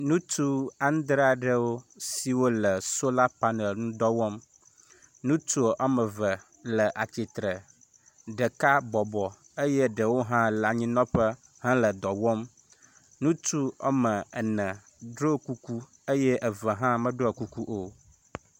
Ŋutsu adre aɖewo siwo le sola panel ŋu dɔ wɔm, ŋutsu woame eve le atsitre, ɖeka bɔbɔ eye ɖewo hã le anyinɔƒe hele dɔ wɔm. Ŋutsu woame ene ɖɔ kuku eye eve hã meɖɔ kuku o.